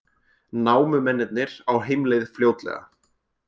Námumennirnir á heimleið fljótlega